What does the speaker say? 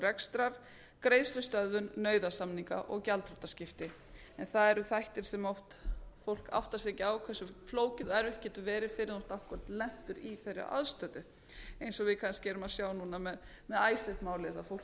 rekstrar greiðslustöðvun nauðasamninga og gjaldþrotaskipti en það eru þættir sem fólk oft áttar sig ekki á hversu flókið og erfitt getur verið fyrr en þú ert akkúrat lentur í þeirri aðstöðu eins og við kannski erum að sjá núna með icesave málið að fólk